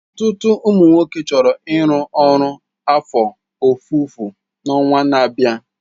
Ọtụtụ ụmụ nwoke chọrọ ịrụ ọrụ afọ ofufo na ọnwa na-abịa.